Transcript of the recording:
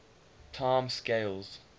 time scales